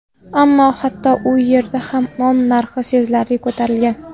Ammo hatto u yerda ham non narxi sezilarli ko‘tarilgan.